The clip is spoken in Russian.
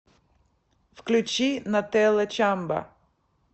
включи нателла чамба